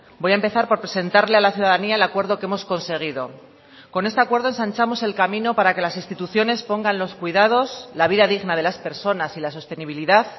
voy a empezar por presentarle a la ciudadanía el acuerdo que hemos conseguido con este acuerdo ensanchamos el camino para que las instituciones pongan los cuidados la vida digna de las personas y la sostenibilidad